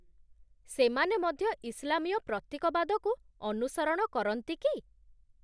ସେମାନେ ମଧ୍ୟ ଇସଲାମୀୟ ପ୍ରତୀକବାଦକୁ ଅନୁସରଣ କରନ୍ତି କି?